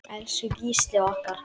Elsku Gísli okkar.